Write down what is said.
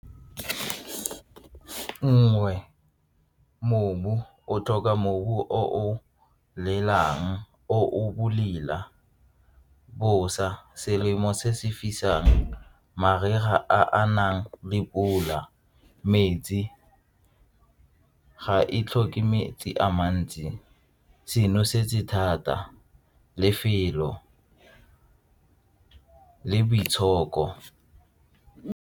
Nngwe, mobu, o tlhoka mobu o o latelang o bolela bosa selemo se se fisang, mariga a nang le pula, metsi ga e tlhoke metsi a mantsi se nosetse thata, lefelo le boitshoko.